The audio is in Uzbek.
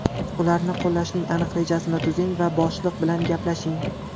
Ularni qo‘llashning aniq rejasini tuzing va boshliq bilan gaplashing.